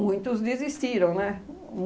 Muitos desistiram, né?